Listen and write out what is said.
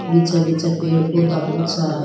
पीछे पीछे पेड़ पौधा बहुत सारा है।